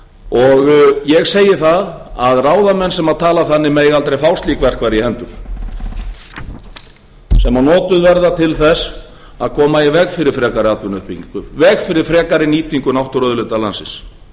og ég segi það að ráðamenn sem tala þannig mega aldrei fá slík verkfæri í hendur sem notuð verða til þess að koma í veg fyrir frekari atvinnuuppbyggingu í veg fyrir frekari nýtingu náttúruauðlinda landsins